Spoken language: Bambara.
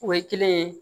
O ye kelen ye